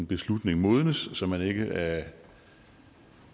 beslutning modnes så man ikke